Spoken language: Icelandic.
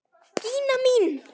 Gína mín!